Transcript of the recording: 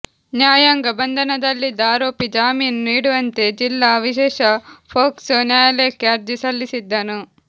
ನ್ಯಾಯಾಂಗ ಬಂಧನದಲ್ಲಿದ್ದ ಆರೋಪಿ ಜಾಮೀನು ನೀಡುವಂತೆ ಜಿಲ್ಲಾ ವಿಶೇಷ ಪೋಕ್ಸೊ ನ್ಯಾಯಾಲಯಕ್ಕೆ ಅರ್ಜಿ ಸಲ್ಲಿಸಿದ್ದನು